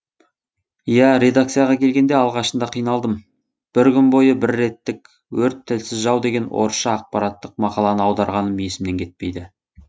иә редакцияға келгенде алғашында қиналдым бір күн бойы бір беттік өрт тілсіз жау деген орысша ақпараттық мақаланы аударғаным есімнен кетпейді